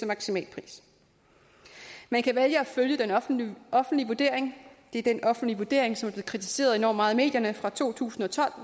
maksimalpris man kan vælge at følge den offentlige offentlige vurdering det er den offentlige vurdering som er blevet kritiseret enormt meget i medierne fra to tusind og tolv og